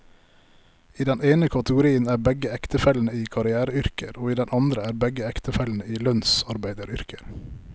I den ene kategorien er begge ektefellene i karriereyrker, og i den andre er begge ektefellene i lønnsarbeideryrker.